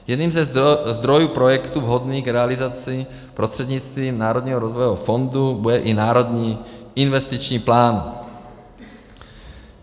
Jedním ze zdrojů projektu vhodných k realizaci prostřednictvím Národního rozvojového fondu bude i Národní investiční plán.